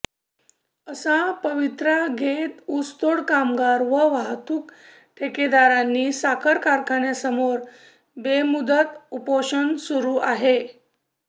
असा पवित्रा घेत ऊसतोड कामगार व वाहतूक ठेकेदारांनी साखर कारखान्यासमोर बेमुदत उपोषण सुरू आहे